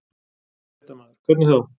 Fréttamaður: Hvernig þá?